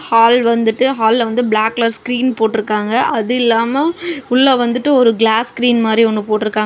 Hall வந்துட்டு ஹால்ல வந்து பிளாக் கலர் ஸ்கிரீன் போட்டுருக்காங்க. அது இல்லாம உள்ள வந்துட்டு ஒரு கிளாஸ் ஸ்கிரீன் மாதிரி ஒன்னு போட்டுருக்காங்க.